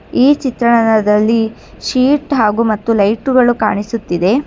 ಈ ಚಿತ್ರದಲ್ಲಿ ಶೀಟ್ ಹಾಗೂ ಮತ್ತು ಲೈಟುಗಳು ಕಾಣಿಸುತ್ತಿದೆ.